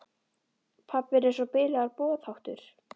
Pabbi er eins og bilaður boðháttur.